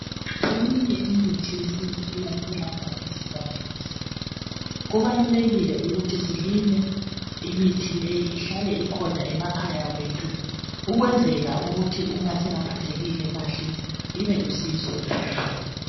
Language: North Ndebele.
Eminye imithi yesintu iyatholakala esivandeni sethu kubalulekile ukuthi silime imithi leyi ihlale ikhona emakhaya wethu ukwenzela ukuthi uma singaphethekile kahle ibelusizo empilweni zethu.